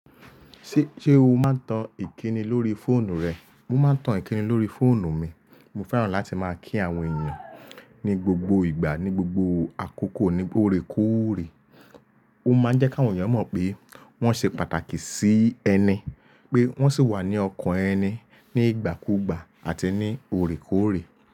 Ṣé, ṣé o máa ń tan ìkíni lórí fóònù rẹ? Mo máa ń tan ìkíni lórí fóònù mi. Mo fẹ́ràn láti máa kí àwọn èèyàn ní gbogbo ìgbà, ní gbogbo àkókò, ní órekóòrè. Ó máa ń jẹ́ kí àwọn èèyàn mọ̀ pé wọ́n ṣe pàtàkì sí ẹni, pé wọ́n sì wà ní ọkàn ẹni ní ìgbà kúùgbà àti ní órekóòrè.